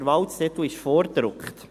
Der Wahlzettel ist vorgedruckt.